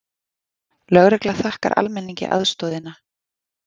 Lögregla þakkar almenningi aðstoðina